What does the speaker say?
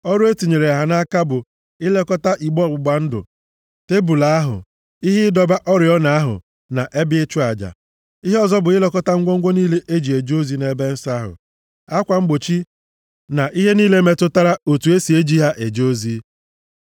Ọrụ e tinyere ha nʼaka bụ ilekọta igbe ọgbụgba ndụ, tebul ahụ, ihe ịdọba oriọna ahụ na ebe ịchụ aja. Ihe ọzọ bụ ilekọta ngwongwo niile e ji eje ozi nʼebe nsọ ahụ, akwa mgbochi na ihe niile metụtara otu e si e ji ha eje ozi.